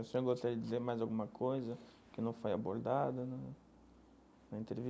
O senhor gostaria de dizer mais alguma coisa que não foi abordada na na